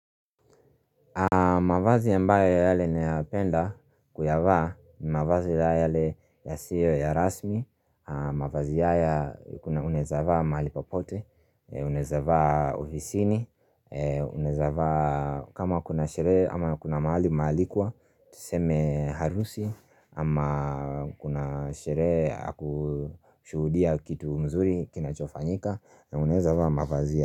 Mavazi ambaye yale nayapenda kuyavaa ni mavazi yale yasio ya rasmi mavazi ya ya kuna unaezavaa mahali popote Unaeza vaa ovisini unaeza vaa kama kuna sherehe ama kuna mahali umaalikwa tuseme harusi ama kuna sherehe yakushuhudia kitu mzuri kina chofanyika unaeza vaa mavazi ya.